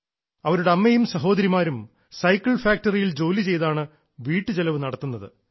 അവരുടെ അമ്മയും സഹോദരിമാരും സൈക്കിൾ ഫാക്ടറിയിൽ ജോലി ചെയ്താണ് വീട്ടുചെലവ് നടത്തുന്നത്